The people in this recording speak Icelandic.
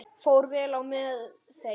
Fór vel á með þeim.